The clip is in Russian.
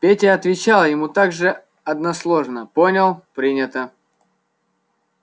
петя отвечал ему так же односложно понял принято